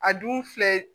A dun filɛ